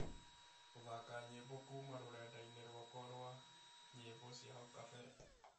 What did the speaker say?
gũthaaka nyĩmbo kuuma rũrenda-inĩ rwakwa rwa nyĩmbo cia hau kabere